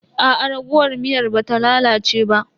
Aa raguwar miyar ba ta lalace ba.